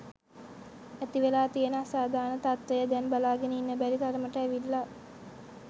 ඇතිවෙලා තියෙන අසාධාරණ තත්ත්වය දැන් බලාගෙන ඉන්න බැරි තරමට ඇවිල්ලා.